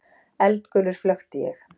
Eldgulur flökti ég.